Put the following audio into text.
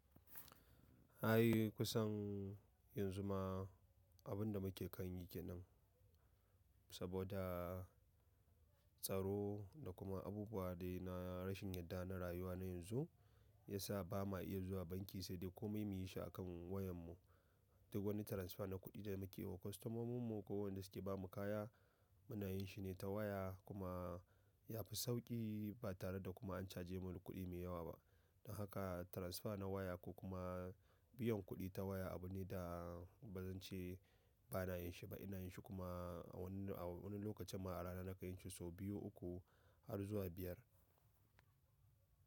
Ai kusan yanzu ma abun da muke kanyi kenan, saboda tsaro da kuma abubuwa dai na rashin yarda na rayuwa na yanzu, ya sa ba ma iya zuwa banki sai dai komai mu yi shi a kan wayan mu. Duk wani transfer na kuɗi da muke wa kwastomomin mu ko wanda suke ba mu kaya, muna yin shi ne ta waya kuma yafi sauƙi ba tare da kuma an caje mu da kuɗi mai yawa ba. Don haka transfer na waya ko kuma biyan kuɗi ta waya abu ne da bazan ce ba na yin shi ba, ina yin shi kuma a wani, a wani lokacin ma a rana na ka yin shi sau biyu, uku har zuwa biyar.